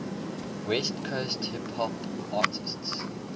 west coast hip hop artists